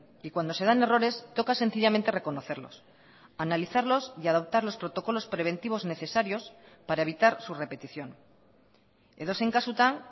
y cuando se dan errores toca sencillamente reconocerlos analizarlos y adoptar los protocolos preventivos necesarios para evitar su repetición edozein kasutan